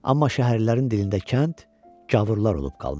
Amma şəhərlərin dilində kənd gavurlar olub qalmışdı.